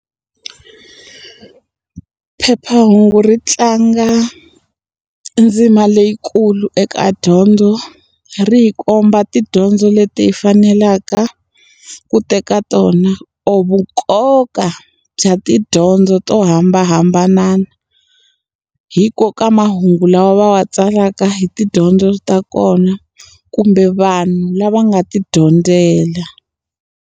Phephahungu ri tlanga ndzima leyikulu eka dyondzo. Ri hi komba tidyondzo leti hi fanelaka ku teka tona or vunkoka bya tidyondzo to hambanahambana hikokwalaho ka mahungu lawa va ma tsalaka hi tidyondzo ta kona kumbe, vanhu lava nga ti dyondzela.